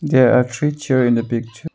There are three chairs in the picture.